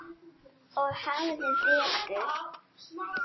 Og hafði betur.